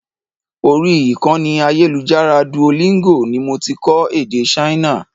Orí ìkànnì ayélujára Duolingo ni mo ti kọ́ èdè Ṣáínà.